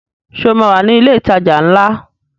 Ṣé o máa wà ní ilé ìtajà ńlá?